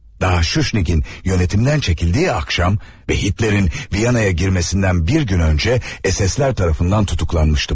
Daha Shushnik'in yönetimden çekildiği akşam ve Hitler'in Viyana'ya girmesinden bir gün önce SS'ler tarafından tutuklanmıştım.